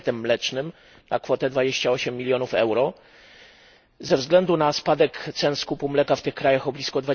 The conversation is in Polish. pakietem mlecznym na kwotę 28 milionów euro ze względu na spadek cen skupu mleka w tych krajach o blisko